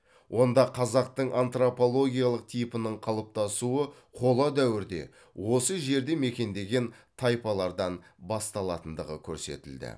онда қазақтың антропологиялық типінің қалыптасуы қола дәуірде осы жерді мекендеген тайпалардан басталатындығы көрсетілді